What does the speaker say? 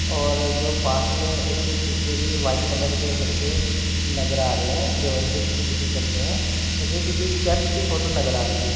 और जो पास में इसके पीछे भी व्हाइट कलर के लड़के भी नजर आ रहे हैं जो इनके पीछे-पीछे चल रहे हैं। यह किसी चर्च की फ़ोटो नजर आ रही है।